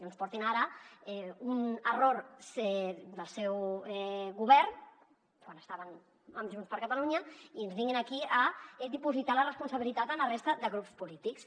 no ens portin ara un error del seu govern quan estaven amb junts per catalunya i ens vinguin aquí a dipositar la responsabilitat a la resta de grups polítics